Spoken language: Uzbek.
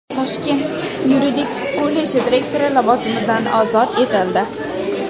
Toshkent yuridik kolleji direktori lavozimidan ozod etildi.